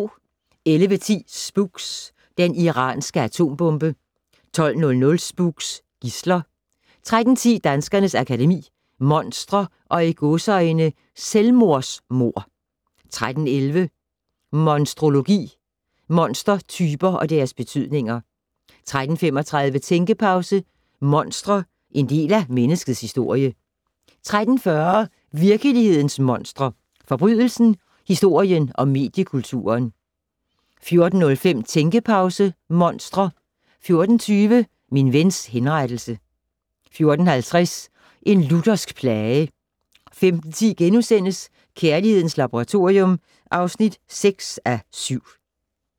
11:10: Spooks: Den iranske atombombe 12:00: Spooks: Gidsler 13:10: Danskernes Akademi: Monstre & "Selvmordsmord" 13:11: Monstrologi: Monstertyper og deres betydninger 13:35: Tænkepause: Monstre - en del af menneskets historie 13:40: Virkelighedens monstre: Forbrydelsen, historien og mediekulturen 14:05: Tænkepause - Monstre 14:20: Min vens henrettelse 14:50: En luthersk plage 15:10: Kærlighedens Laboratorium (6:7)*